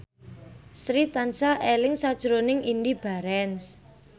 Sri tansah eling sakjroning Indy Barens